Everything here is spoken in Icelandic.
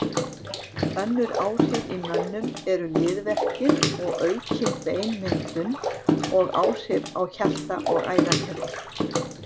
Önnur áhrif í mönnum eru liðverkir og aukin beinmyndun og áhrif á hjarta og æðakerfi.